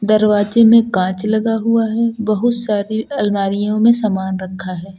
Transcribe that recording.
दरवाजे में कांच लगा हुआ है। बहुत सारी अलमारियों में समान रखा है।